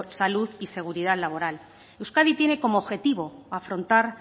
salud y seguridad laboral euskadi tiene como objetivo afrontar